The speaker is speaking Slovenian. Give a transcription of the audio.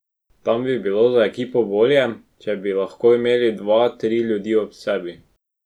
Tam bi bilo za ekipo bolje, če bi lahko imel dva, tri ljudi ob sebi.